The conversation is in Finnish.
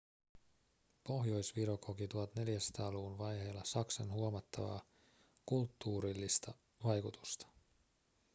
pohjois-viro koki 1400-luvun vaiheilla saksan huomattavaa kulttuurillista vaikutusta